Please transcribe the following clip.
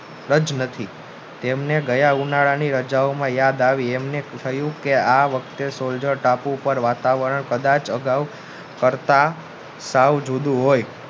જ નથી તેમને ગયા ઉનાળાની રાજાઓની યાદ આવી એમને થયું કે આ વખતે સોલ્જર ટાપુ પર વાતાવરણ કદાચ અગાવ પડતા સાવ જુદું હોય